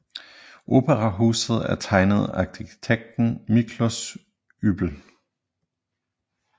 Operahuset er tegnet af arkitekten Miklós Ybl